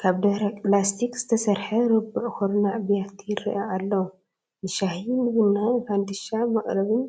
ካብ ደረቕ ላስቲክ ዝተሰርሐ ርቡዕ ኩርናዕ ብያቲ ይረአ ኣሎ፡፡ ንሻሂ፣ ንቡና፣ ንፈንድሻ መቐረብን